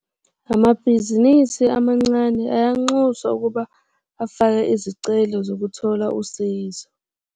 Amabhizinisi amancane ayanxuswa ukuba afake izicelo zokuthola usizo.